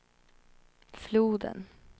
floden